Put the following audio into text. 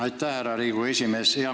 Aitäh, härra Riigikogu esimees!